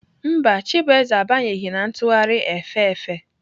Mba, chibueze abanyeghị na ntụgharị efe efe.